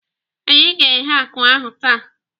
Anyị ga-eghe akụ ahụ taa.